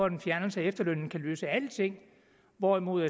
en fjernelse af efterlønnen kan løse alting hvorimod